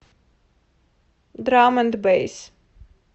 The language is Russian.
драм энд бэйс